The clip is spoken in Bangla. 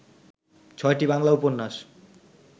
ছয়টি বাংলা উপন্যাস